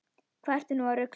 Hvað ertu nú að rugla!